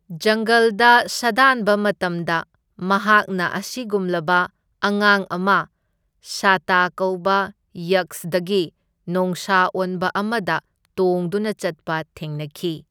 ꯖꯪꯒꯜꯗ ꯁꯥꯗꯥꯟꯕ ꯃꯇꯝꯗ ꯃꯍꯥꯛꯅ ꯑꯁꯤꯒꯨꯝꯂꯕ ꯑꯉꯥꯡ ꯑꯃ ꯁꯥꯇ ꯀꯧꯕ ꯌꯛꯁꯗꯒꯤ ꯅꯣꯡꯁꯥ ꯑꯣꯟꯕ ꯑꯃꯗ ꯇꯣꯡꯗꯨꯅ ꯆꯠꯄ ꯊꯦꯡꯅꯈꯤ꯫